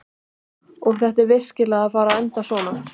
Og er þetta virkilega að fara að enda svona?